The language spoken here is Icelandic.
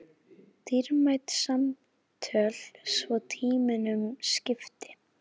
Dýrmæt samtöl svo tímunum skipti.